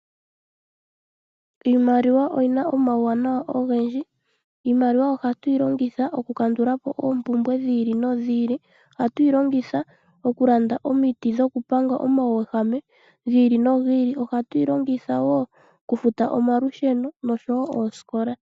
Iimaliwa oyina omawuwanawa ogendji. Iimaliwa ohatu yi longitha oku oompumbwe dhi ili no dhi ili. Ohatu yi longitha oku landa omiti dhoku panga omauwehame gi ili no gi ili. Ohatu yi longitha woo okufuta omalusheno nosho woo oosikola.